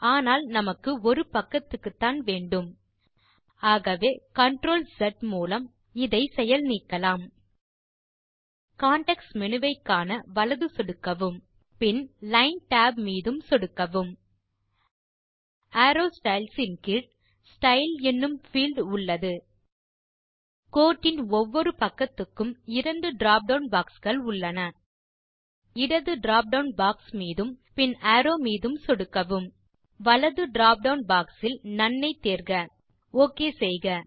ஆனால் நமக்கு ஓரு பக்கத்துக்குத்தான் வேண்டும் ஆகவே CTRLZ மூலம் இதை செயல் நீக்கலாம் கான்டெக்ஸ்ட் மேனு வை காண வலது சொடுக்கவும் பின் லைன் tab மீதும் சொடுக்கவும் அரோவ் ஸ்டைல்ஸ் ன் கீழ் ஸ்டைல் எனும் பீல்ட் உள்ளது இரண்டு drop டவுன் பாக்ஸ் உள்ளன கோட்டின் ஒவ்வொரு பக்கத்துக்கும் இடது drop டவுன் பாக்ஸ் மீதும் பின் அரோவ் மீதும் சொடுக்கவும் வலது drop டவுன் பாக்ஸ் இல் நோன் ஐ தேர்க ஒக் செய்க